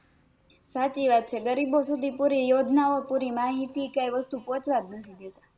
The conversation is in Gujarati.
સાચી વાત છે ગરીબો સુધી પૂરી યોજના ઓં પૂરી માહિતી કઈ વસ્તુ પોચવા જ નથી દેતા